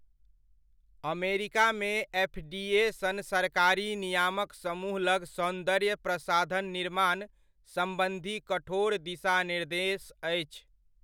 अमरिकामे FDA सन सरकारी नियामक समूह लग सौन्दर्य प्रसाधनक निर्माण सम्बन्धी कठोर दिशानिर्देश अछि।